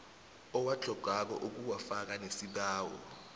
owatlhogako ukuwafaka nesibawo